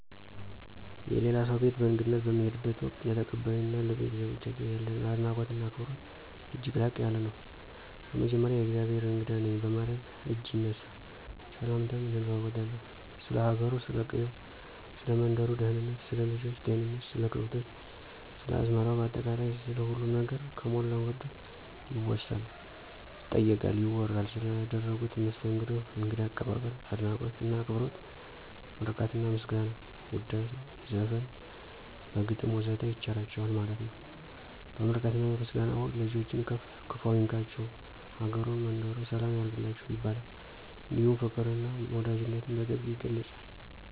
የሌላ ሰው ቤት በእንግድነት በምንሄድበት ወቅት፣ ለተቀባዮ እና ለቤተሰባቸው ያለን አድናቆት እና አክብሮት እጅግ ላቅ ያለ ነው። በመጀመሪያ የእግዜሄር እንግዳ ነኝ በማለት እጅ ይነሳ፣ ሰላምታም እንለዋወጣለን፣ ስለ ሀገሩ፥ ስለ ቀየው፥ ሰለ መንደሩ ደህንነት፥ ስለ ልጆች ጤንነት፥ ስለ ከብቶች፥ ስለ አዝመራው ባጠቃላይ ስለ ሁሉም ነገር ከሞላ ጎደል ይወሳል፥ ይጠየቃል፥ ይወራል። ስለ አደረጉት መስተንግዶ እንግዳ አቀባበል፤ አድናቆት እና አክብሮት ምርቃትና ምስጋና፣ ውዳሴ፣ ዘፈን፣ በግጥም ወዘተ ይቸራቸዋል ማለት ነው። በምርቃትና በምስጋና ወቅት ልጆችን ክፍ አይንካቸቸው፤ አገሩን መንደሩን ሰላም ያርግላችሁ ይባላል። እንዲሁም ፋቅር እና ወዳጅነትን በጥብቅ ይገለፃል።